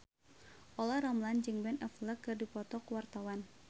Olla Ramlan jeung Ben Affleck keur dipoto ku wartawan